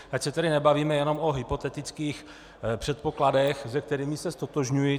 Ať se tady nebavíme jenom o hypotetických předpokladech, s kterými se ztotožňuji.